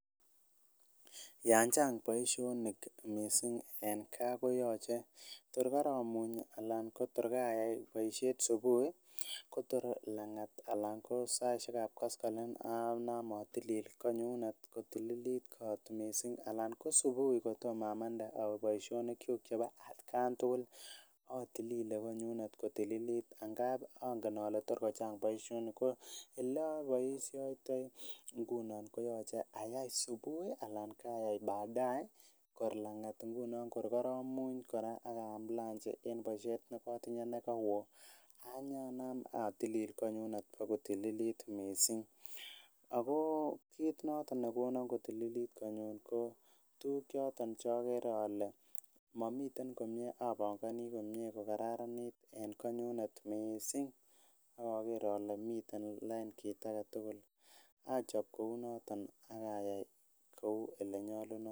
Yan chang' boishonik mising' eng' kaa koyoche tor karamuny alan ko tor kayai boishet subuhi kotor lang'at alan ko saishekab koskoling' anaam atilil konyunet kotililit kot mising' alan ko subuhi kotomo amande awe boishonik chu chebo atkan tugul atilile konyunet kotililit agap angen ale tor kochang' boishonik ko ole aboishoitoi ngunon koyochei ayai subuhi alan ayai badae kor lang'at nguno kor koramuny kora akanaam lanji eng' boishet nekatinye nekawoo anyanaam atilil konyunet ako tililit mising' ako kiit noto nekono kotililit konyun ko tukuk choton chakere ale mamiten komyee apongoni komye kokararanit eng' konyunet mising' akaker ale miten lain kit age tugul achop kou noton akayai kou ole nyolunot